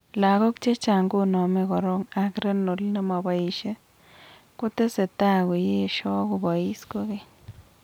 Logok chechang koname korok ak renal nemopoisie, kotesetaa koyesho kopois koikeny